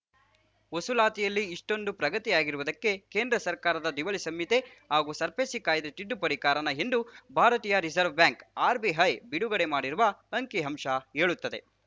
ವಸೂಲಾತಿಯಲ್ಲಿ ಇಷ್ಟೊಂದು ಪ್ರಗತಿಯಾಗಿರುವುದಕ್ಕೆ ಕೇಂದ್ರ ಸರ್ಕಾರದ ದಿವಾಳಿ ಸಂಹಿತೆ ಹಾಗೂ ಸರ್ಫೇಸಿ ಕಾಯ್ದೆ ತಿದ್ದುಪಡಿ ಕಾರಣ ಎಂದು ಭಾರತೀಯ ರಿಸರ್ವ್ ಬ್ಯಾಂಕ್‌ ಆರ್‌ಬಿಐ ಬಿಡುಗಡೆ ಮಾಡಿರುವ ಅಂಕಿಅಂಶ ಹೇಳುತ್ತದೆ